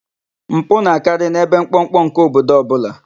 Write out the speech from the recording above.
Mpụ na-akarị n'ebe mkpọmkpọ nke obodo ọbụla.